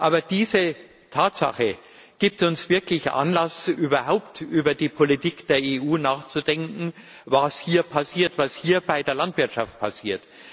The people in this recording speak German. Aber diese Tatsache gibt uns wirklich Anlass, überhaupt über die Politik der EU sowie darüber nachzudenken, was hier bei der Landwirtschaft passiert.